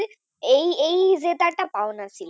এই এই জেতাটা পাওনা ছিল।